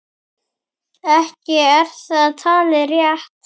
Ekki er það talið rétt.